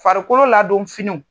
Farikolo ladon fini